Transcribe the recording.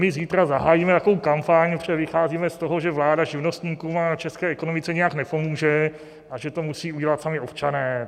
My zítra zahájíme takovou kampaň, protože vycházíme z toho, že vláda živnostníkům a české ekonomice nijak nepomůže a že to musí udělat sami občané.